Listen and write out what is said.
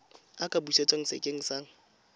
a ka busetswa sekeng sa